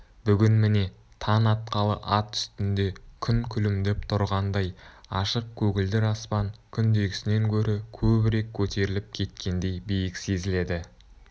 бүгін міне таң атқалы ат үстінде күн күлімдеп тұрғандай ашық көгілдір аспан күндегісінен гөрі көбірек көтеріліп кеткендей биік сезіледі